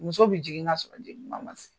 Muso bi jigin nka sɔrɔ jigin kuma ma se.